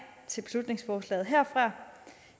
til beslutningsforslaget herfra